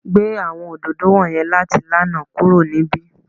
Mu awọn ododo wọnyẹn lati lana kuro ni ibi!